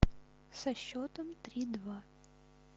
со счетом три два